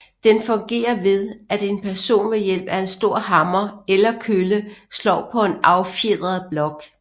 Den fungerer ved at en person ved hjælp af en stor hammer eller kølle slår på en affjedret blok